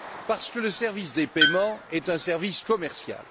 Parce que le service des paiements est un service commercial.